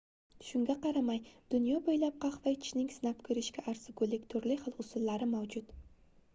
shunga qaramay dunyo boʻylab qahva ichishning sinab koʻrishga arzigulik turli xil usullari mavjud